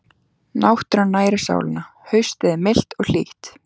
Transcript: Náttúran nærir sálina Haustið er milt og hlýtt.